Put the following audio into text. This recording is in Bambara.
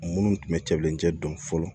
Minnu tun bɛ cɛlencɛ dɔn fɔlɔ